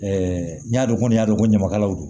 n y'a dɔn kɔni y'a dɔn ko ɲamakalaw don